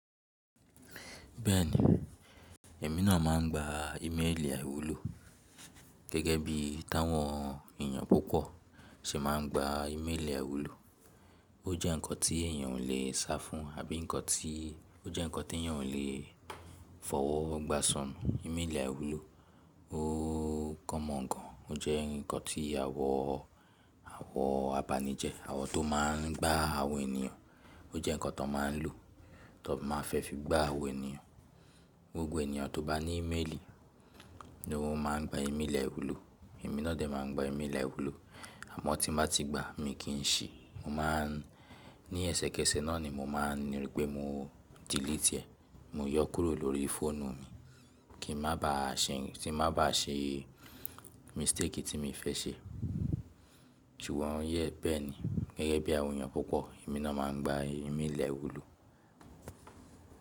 Bẹ́ẹ̀ni, èmi náà máa ń gba ímélì àìwúlò. Gẹ́gẹ́ bí táwọn èèyàn púpọ̀ ṣe máa ń gba ímélì àìwúlò. Ó jẹ́ nǹkan tí èèyàn ò lè sá fún àbí nǹkan tí ó jẹ́ nǹkan tí èèyàn ò lè fọwọ́ gbá ṣánmu. Ìmélì àìwúlò ó common gan. Ó jẹ́ nǹkan tí àwọn, àwọn abanijẹ, àwọn tó máa ń gbá àwọn ènìyàn. Ó jẹ́ nǹkan tón máa ń lò, tón máa fẹ́ fi gbá àwọn ènìyàn. Gbogbo ènìyàn tó bá ní ímélì ni ó máa ń gba ímélì àwúlò. Èmi náà dẹ̀ máa gba ímélì àwúlò. Àmọ́ tí n bá ti gba, mì kì n ṣi, mo máa ń ní ẹsẹkẹsẹ náà ni mo máa ń ni wípé mo delete ẹ́, mo yọ ó kúrò lórí fóònù mi kí ń má ba à ṣe, tí n má ba à ṣe mistake tí mì fẹ́ ṣe. Jù wọ́n yẹ bẹ́ẹ̀ ni. Gẹ́gẹ́ bí àwọn èèyàn púpọ̀ èmi náà máa ń gba ímélì àìwúlò.